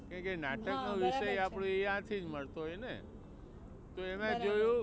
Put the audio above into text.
કારણ કે નાટક નો વિષય આપણે ત્યાંથી જ મળતો હોય ને તો એમાં જોયું